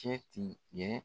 Kɛ ti ɲɛ